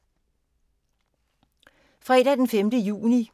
Fredag d. 5. juni 2015